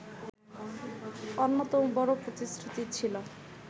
অন্যতম বড় প্রতিশ্রুতি ছিল